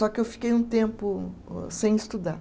Só que eu fiquei um tempo sem estudar.